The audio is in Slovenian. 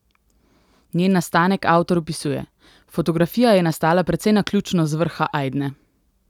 Njen nastanek avtor opisuje: "Fotografija je nastala precej naključno z vrha Ajdne.